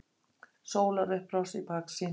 Sólarupprás í baksýn.